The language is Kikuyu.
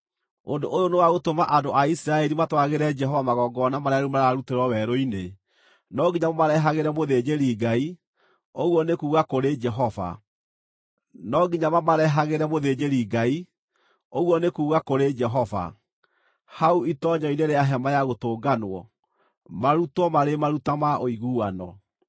Ũndũ ũyũ nĩwagũtũma andũ a Isiraeli matwaragĩre Jehova magongona marĩa rĩu mararutĩrwo werũ-inĩ. No nginya mamarehagĩre mũthĩnjĩri-Ngai, ũguo nĩ kuuga kũrĩ Jehova, hau itoonyero-inĩ rĩa Hema-ya-Gũtũnganwo, marutwo marĩ maruta ma ũiguano.